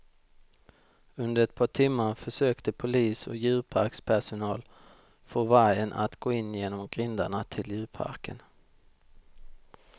Under ett par timmar försökte polis och djurparkspersonal få vargen att gå in genom grindarna till djurparken.